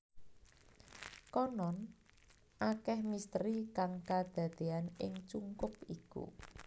Konon akeh misteri kang kadadeyan ing cungkup iku